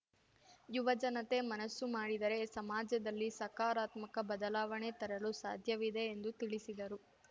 ಯುವ ಜನತೆ ಮನಸ್ಸು ಮಾಡಿದರೆ ಸಮಾಜದಲ್ಲಿ ಸಕಾರಾತ್ಮಕ ಬದಲಾವಣೆ ತರಲು ಸಾಧ್ಯವಿದೆ ಎಂದು ತಿಳಿಸಿದರು